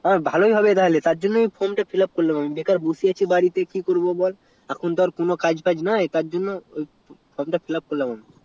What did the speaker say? তো মভালোই হবে তাহলে তারজন্য আমি from টা fill up করলাম আমি বুজলি তো আর বসে আছি বাড়িতে কি করবো বল এখন তো আর কোনো কাজ তাজ নাই তাই from তা fill up করলাম আমি